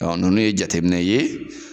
nunnu ye jateminɛ ye